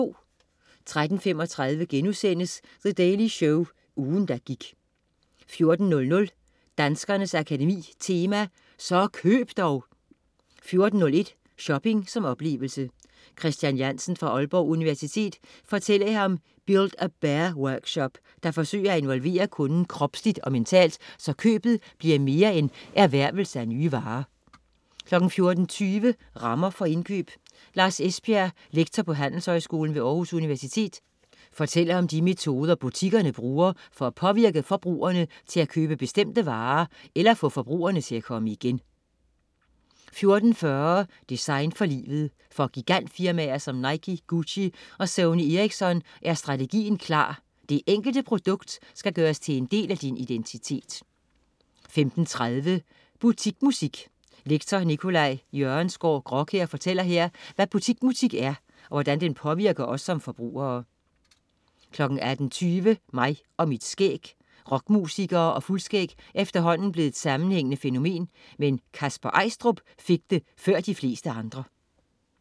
13.35 The Daily Show. Ugen, der gik* 14.00 Danskernes Akademi Tema: Så køb dog! 14.01 Shopping som oplevelse. Christian Jantzen fra Aalborg Universitet fortæller her om Build-a-Bear-workshop, der forsøger at involvere kunden kropsligt og mentalt, så købet bliver mere end erhvervelse af nye varer 14.20 Rammer for indkøb. Lars Esbjerg, lektor på Handelshøjskolen ved Aarhus Universitet, fortæller om de metoder, butikkerne bruger for at påvirke forbrugerne til at købe bestemte varer eller få forbrugerne til at komme igen 14.40 Design for livet. For gigantfirmaer som Nike, Gucci og Sony Ericsson er strategien klar: Det enkelte produkt skal gøres til en del af din identitet 15.35 Butikmusik. Lektor Nicolai Jørgensgaard Graakjær fortæller her, hvad butikmusik er, og hvordan den påvirker os som forbrugere 18.20 Mig og mit skæg. Rockmusikere og fuldskæg er efterhånden blevet et sammenhængende fænomen. Men Kasper Eistrup fik det før de fleste andre